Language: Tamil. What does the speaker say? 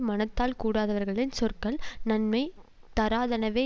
மனத்தால் கூடாதவர்களின் சொற்கள் நன்மை தராதனவே